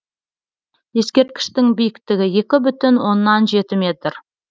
ескерткіштің биіктігі екі бүтін оннан жеті метр